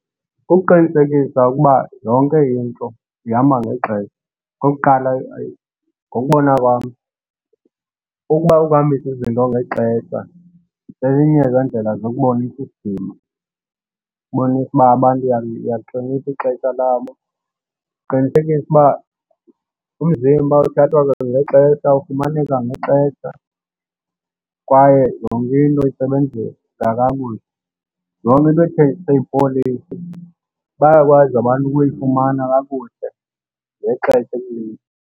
Kukuqinisekisa ukuba yonke into ihamba ngexesha. Okokuqala ngokokubona kwam ukuba uhambisa izinto ngexesha elinye zeendlela zokubonisa isidima. Ukubonisa uba abantu uyalihlonipha ixesha labo. Uqinisekisa ukuba umzimba uthathwa kwangexesha, ufumaneka ngexesha kwaye yonke into isebenzisa kakuhle. Yonke into ethenjiswe yi-policy bayakwazi abantu ukuyifumana kakuhle ngexesha elinye.